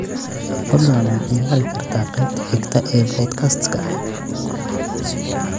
fadlan ma ciyaari kartaa qaybta xigta ee podcast-ka